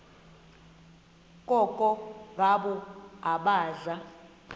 koko ngabo abaza